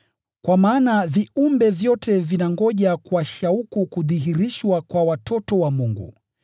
Kwa maana viumbe vyote vinangoja kwa shauku kudhihirishwa kwa watoto wa Mungu.